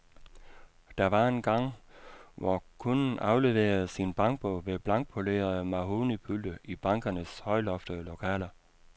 Der var engang, hvor kunden afleverede sin bankbog ved blankpolerede mahognipulte i bankernes højloftede lokaler.